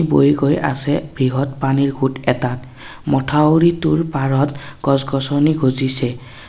বৈ গৈ আছে বৃহৎ পানীৰ সোঁত এটা মথাউৰীটোৰ পাৰত গছ গছনি গজিছে।